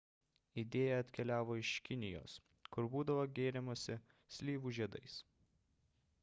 idėja atkeliavo iš kinijos kur būdavo gėrimasi slyvų žiedais